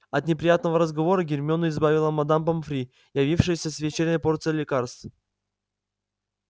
от неприятного разговора гермиону избавила мадам помфри явившаяся с вечерней порцией лекарств